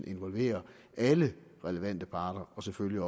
involvere alle relevante parter og selvfølgelig